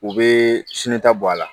U bɛ sinita bɔ a la